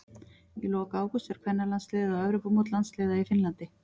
Í lok ágúst fer kvennalandsliðið á Evrópumót landsliða í Finnlandi.